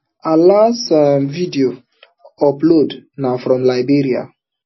her last um video update na from liberia